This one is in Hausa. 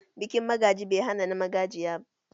Bikin magaji bai hana na magajiya